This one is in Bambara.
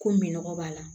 Ko minɔgɔ b'a la